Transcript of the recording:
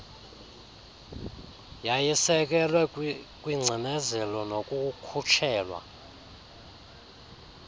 yayisekelwe kwingcinezelo nokukhutshelwa